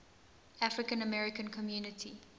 african american community